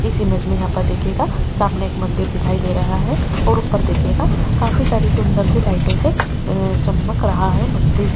इस इमेज में यहां पर देखिएगा सामने एक मंदिर दिखाई दे रहा है और ऊपर देखिएगा काफी सारी सुंदर सी लाइटों से अह चमक रहा है मंदिर।